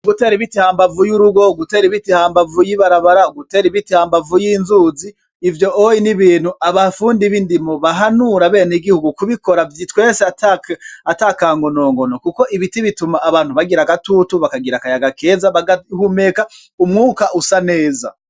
Ugutera ibiti hambavu y'urugo gutera ibiti hambavu y'ibarabara gutera ibiti hambavu y'inzuzi ivyo oye n'ibintu abafundi bindimo bahanura bene gihugu kubikora twese ata kango nongono, kuko ibiti bituma abantu bagira agatutu bakagira akayaga keza bagahumeka umwuka usa neza.